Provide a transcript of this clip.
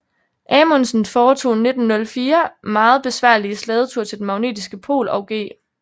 Amundsen foretog 1904 meget besværlige slædeture til den magnetiske pol og G